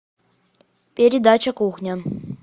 передача кухня